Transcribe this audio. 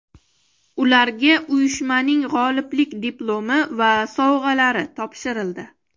Ularga uyushmaning g‘oliblik diplomi va sovg‘alari topshirildi.